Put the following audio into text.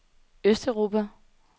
østeuropa